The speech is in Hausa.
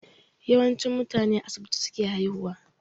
Yawanci mutane a asibiti suke haihuwa